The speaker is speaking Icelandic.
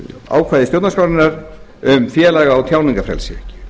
ákvæði stjórnarskrárinnar um félaga og tjáningarfrelsi